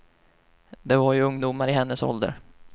Det var ju ungdomar i hennes ålder.